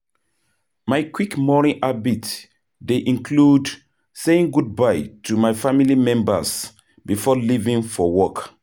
My quick morning habit dey include saying goodbye to my family members before leaving for work.